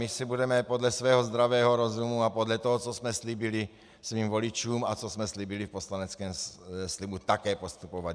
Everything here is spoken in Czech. My si budeme podle svého zdravého rozumu a podle toho, co jsme slíbili svým voličům a co jsme slíbili v poslaneckém slibu, také postupovat.